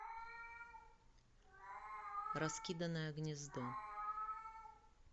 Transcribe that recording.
раскиданное гнездо